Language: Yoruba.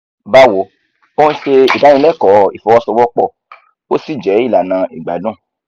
báwo ò ń ṣe ìdánilẹ́kọ̀ọ́ ìfọwọ́sowọ́pọ̀ ó sì jẹ́ ìlànà ìgbádùn